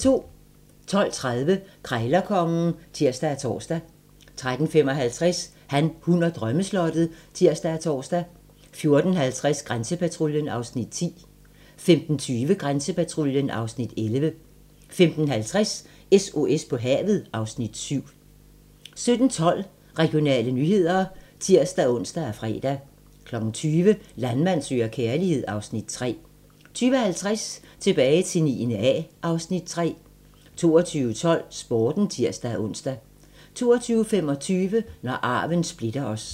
12:30: Krejlerkongen (tir og tor) 13:55: Han, hun og drømmeslottet (tir og tor) 14:50: Grænsepatruljen (Afs. 10) 15:20: Grænsepatruljen (Afs. 11) 15:50: SOS på havet (Afs. 7) 17:12: Regionale nyheder (tir-ons og fre) 20:00: Landmand søger kærlighed (Afs. 3) 20:50: Tilbage til 9. A (Afs. 3) 22:12: Sporten (tir-ons) 22:25: Når arven splitter os